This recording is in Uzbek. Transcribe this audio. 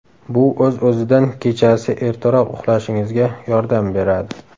Bu o‘z-o‘zidan kechasi ertaroq uxlashingizga yordam beradi.